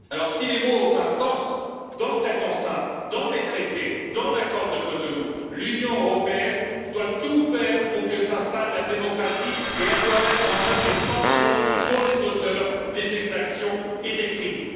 Si les mots ont un sens dans cette enceinte, dans les traités, dans l'accord de Cotonou, l'Union européenne doit tout faire pour que s'installe la démocratie et elle doit mettre en oeuvre des sanctions pour les auteurs des exactions et des crimes.